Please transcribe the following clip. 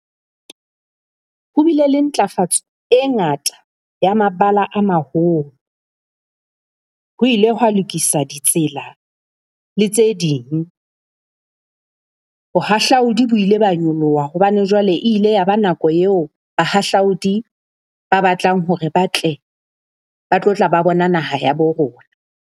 Ho bile le ntlafatso e ngata ya mabala a maholo, ho ile hwa lokiswa ditsela le tse ding. Bohahlaudi bo ile ba nyoloha hobane jwale ile ya ba nako eo bahahlaudi ba batlang hore ba tle ba tlo tla ba bona naha ya bo rona